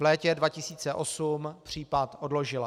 V létě 2008 případ odložila.